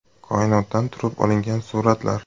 Koinotdan turib olingan suratlar .